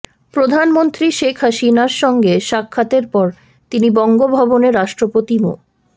প্রধানমন্ত্রী শেখ হাসিনার সঙ্গে সাক্ষাতের পর তিনি বঙ্গভবনে রাষ্ট্রপতি মো